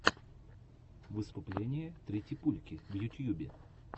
выступление тритипульки в ютьюбе